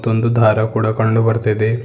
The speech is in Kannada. ತ್ತೊಂದು ದಾರ ಕೂಡ ಕಂಡು ಬರ್ತಿದೆ.